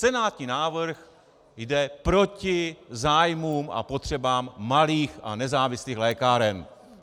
Senátní návrh jde proti zájmům a potřebám malých a nezávislých lékáren.